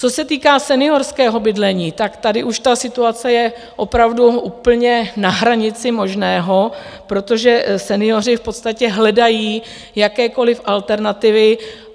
Co se týká seniorského bydlení, tak tady už ta situace je opravdu úplně na hranici možného, protože senioři v podstatě hledají jakékoliv alternativy.